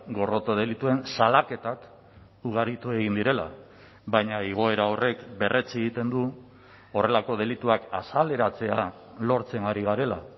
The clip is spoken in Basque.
gorroto delituen salaketak ugaritu egin direla baina igoera horrek berretsi egiten du horrelako delituak azaleratzea lortzen ari garela